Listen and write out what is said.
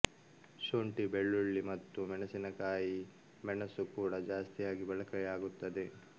ಶುಂಠಿ ಬೆಳ್ಳುಳ್ಳಿ ಮತ್ತು ಮೆಣಸಿನಕಾಯಿಕಾಯಿ ಮೆಣಸು ಕೂಡಾ ಜಾಸ್ತಿಯಾಗಿ ಬಳಕೆಯಾಗುತ್ತದೆ